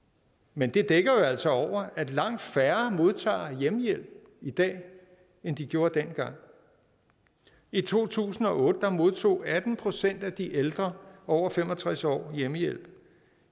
men det dækker jo altså over at langt færre modtager hjemmehjælp i dag end de gjorde dengang i to tusind og otte modtog atten procent af de ældre over fem og tres år hjemmehjælp